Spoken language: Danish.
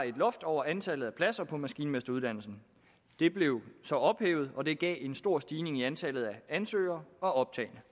et loft over antallet af pladser på maskinmesteruddannelsen det blev så ophævet og det gav en stor stigning i antallet af ansøgere og optagne